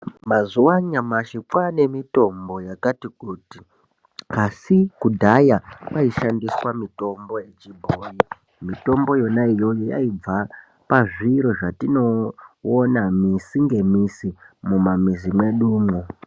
Mazuva anyamashi kwaane mitombo yakatikuti, asi kudhaya kwaishandiswa mitombo yechibhoyi. Mitombo iyona iyoyo yaibva pazviro zvatinonoona misi ngemisi mumamizi mwedumo.